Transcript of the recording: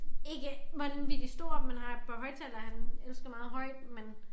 Ikke vanvittig stort men har et par højttalere han elsker meget højt men